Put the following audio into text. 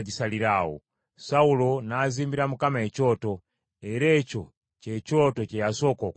Sawulo n’azimbira Mukama ekyoto, era ekyo kye kyoto kye yasooka okuzimbira Mukama .